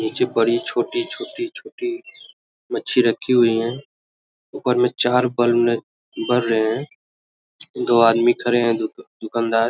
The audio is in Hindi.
नीचे बड़ी छोटी-छोटी छोटी मच्छी रखी हुई है ऊपर मे चार बल्ब बर रहे है दो आदमी खड़े है दुकानदार ।